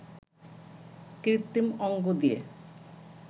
কৃত্রিম অঙ্গ দিয়ে